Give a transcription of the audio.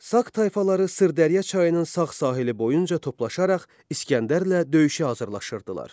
Saq tayfaları Sırdərya çayının sağ sahili boyunca toplaşaraq İsgəndərlə döyüşə hazırlaşırdılar.